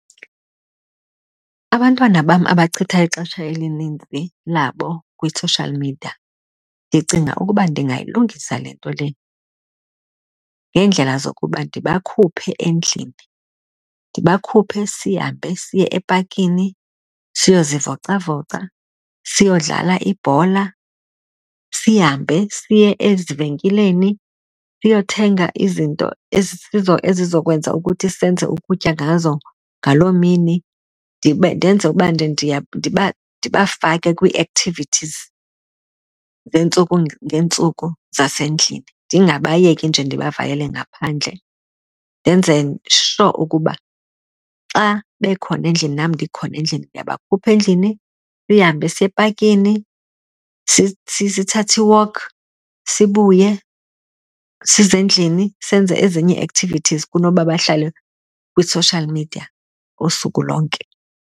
Abantwana bam abachitha ixesha elinintsi labo kwi-social media ndicinga ukuba ndingayilungisa le nto le ngeendlela zokuba ndibakhuphe endlini. Ndibakhuphe sihambe siye epakini siyozivocavoca, siyodlala ibhola, sihambe siye ezivenkileni siyothenga izinto ezizokwenza ukuthi senze ukutya ngazo ngaloo mini. Ndenze uba ndibafake kwii-activities zeentsuku ngeentsuku zasendlini ndingabayeki nje ndibavalele ngaphandle. Ndenze sure ukuba xa bekhona endlini nam ndikhona endlini, ndiyabakhupha endlini sihambe siye epakini, sithathe i-walk sibuye size endlini senze ezinye ii-activities kunoba bahlale kwi-social media usuku lonke.